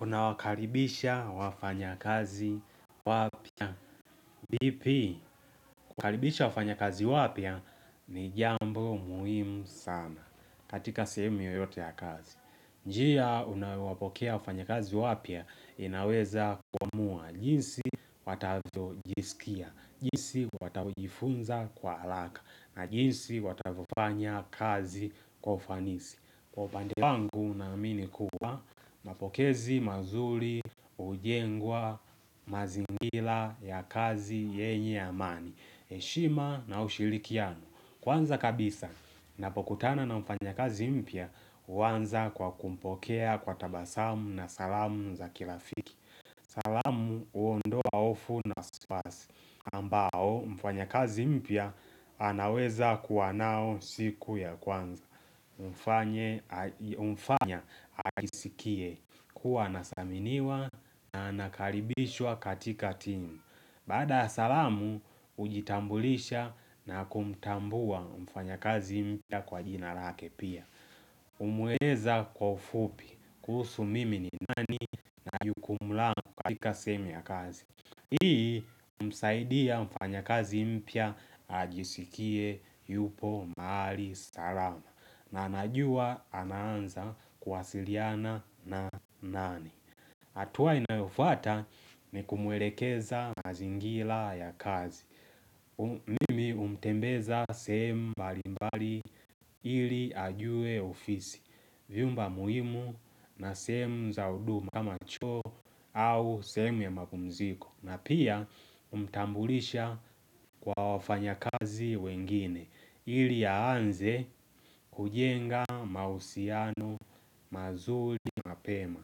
Unawakaribisha wafanya kazi wapya. Vipi, kuwakaribisha wafanya kazi wapya ni jambo muhimu sana. Katika sehemu yoyote ya kazi. Njia unawapokea wafanya kazi wapia inaweza kuamua. Jinsi watavyo jisikia. Jinsi watavyo jifunza kwa haraka. Na jinsi watavofanya kazi wa ufanisi. Kwa upande wangu unaminikuwa napokezi mazuli hujengwa mazingila ya kazi yenye amani heshima na ushilikiano Kwanza kabisa napokutana na mfanya kazi mpya uwanza kwa kumpokea kwa tabasamu na salamu za kirafiki salamu huondoa hofu na spas ambao mfanya kazi mpya anaweza kuwanao siku ya kwanza Mfanya ajisikie kuwa athaminiwa na nakaribishwa katika timu Baada salamu ujitambulisha na kumtambua mfanya kazi mpya kwa jina lake pia Umweleza kwa ufupi kuhusu mimi ni nani na jukumu langu katika sehemu ya kazi Hii humsaidia mfanya kazi mpya ajisikie yupo mahali salama na anajua ananza kwasiliana na nani hatua inayofata ni kumuelekeza mazingila ya kazi Mimi humtembeza sehemu balimbali ili ajue ofisi Vyumba muhimu na sehemu za huduma kama choo au sehemu ya mapumziko na pia humtambulisha kwa wafanya kazi wengine ili yaanze kujenga mahusiano mazuri mapema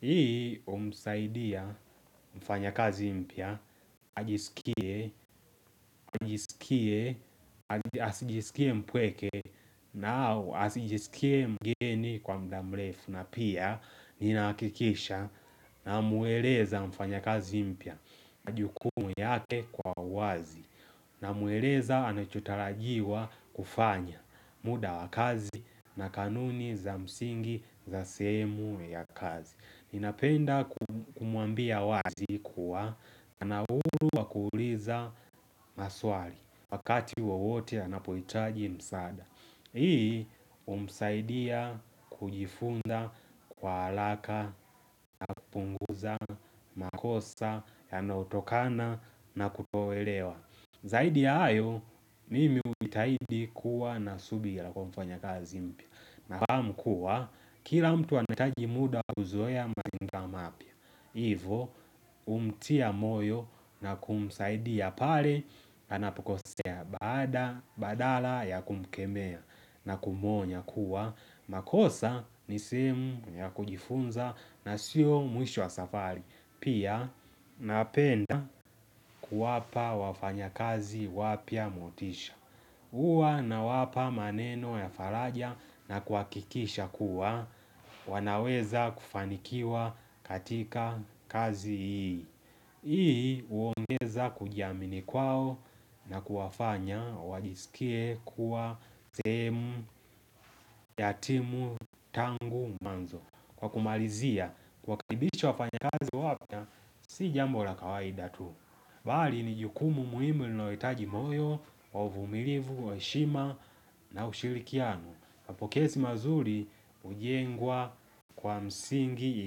Hii umsaidia mfanya kazi mpya ajisikie mpweke na au asijisikie mgeni kwa mudamlefu na pia ninakikisha na mueleza mfanya kazi mpya majukumu yake kwa wazi na mueleza anachotarajiwa kufanya muda wakazi na kanuni za msingi za sehemu ya kazi Ninapenda kumuambia wazi kuwa Kana ulu wa kuuliza maswali Wakati wowote anapuhitaji msaada Hii humsaidia kujifunda kwa haraka punguza makosa yanayotokana na kutoelewa Zaidi ya hayo, nimi humtahidi kuwa na subira kwa mfanya kazi mpia Nafaahmu kuwa, kila mtu anahitaji muda kuzoea maivo, humtia moyo na kumsaidiaia pale na anapukosea badala ya kumkemea na kumuonya kuwa makosa ni sehemu ya kujifunza na sio mwisho wa safari Pia napenda kuwapa wafanya kazi wapya motisha Uwa nawapa maneno ya faraja na kuha kikisha kuwa wanaweza kufanikiwa katika kazi ii hIi huongeza kujiamini kwao na kuwafanya wajisikie kuwa sehemu yatimu tangu mwanzo Kwa kumalizia kwa makaribisho wafanya kazi wapia Si jambo la kawaida tu Bali ni jukumu muhimu linalono itaji moyo umilivu, wa heshima na ushirikiano Mapokezi mazuri hujengwa kwa msingi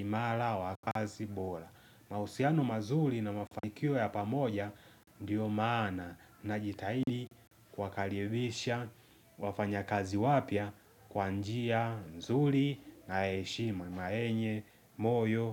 imara wakazi bora Mhausiano mazuri na mafakio ya pamoja Ndiyo maana na jitahidi kwa kalivisha wafanya kazi wapia kwa njia, nzuri na heshima na yenye, moyo.